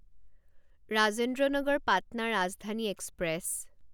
Rajendra Nagar Patna Rajdhani express